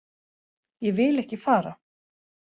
Ég vil ekki fara.